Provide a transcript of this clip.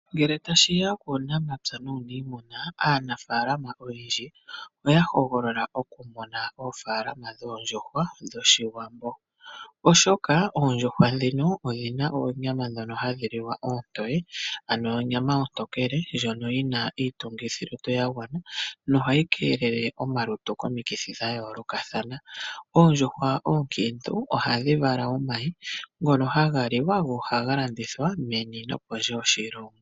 Ngele tashiya puunamapya nuuniimuna, aanafaalama oyendji oya hogolola oku mona oofaalama dhoondjuhwa dhoshiwambo oshoka oondjuhwa ndhino odhi na oonyama ndhono hadhi liwa oontoye, ano onyama ontokele ndhono yi na iitungithi ya gwana nohayi keelele omalutu komikithi dha yoolokathana. Oondjuhwa oonkiintu ohadhi vala omayi ngono haga liwa nohaga landithwa meni nopondje yoshilongo.